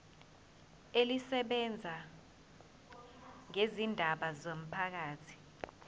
elisebenza ngezindaba zomphakathi